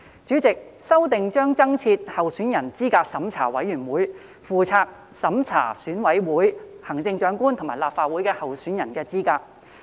主席，修訂將增設資審會，負責審查選委會、行政長官及立法會候選人的資格。